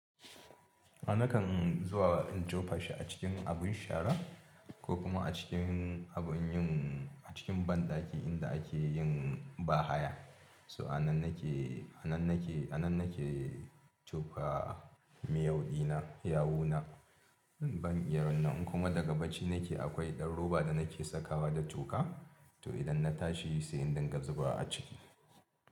A nakan zuwa in tofa shi a cikin abin shara ko kuma a cikin abin yin, a cikin banɗaki inda ake yin bahaya. So a nan nake, a nan nake, a nan nake tofa miyau ɗina, yawuna ban iya wannan in kuma daga bacci nake akwai ɗan roba da nake sakawa da toka. To idan na tashi sai in dinga zubawa a ciki.